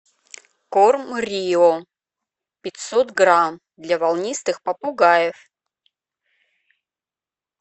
корм рио пятьсот грамм для волнистых попугаев